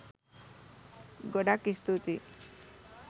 ගොඩක් ස්තුතියි.